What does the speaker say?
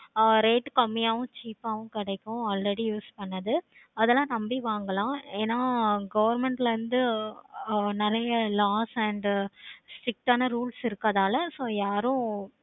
ஆஹ் rate கம்மியாவும் cheap ஆஹ் வும் கிடைக்கும். அந்த மாதிரி use பண்ணது அத எல்லாம் நம்பி வாங்கலாம். government ல இருந்து நெறைய loss and strict ஆனா rules இறுக்கனால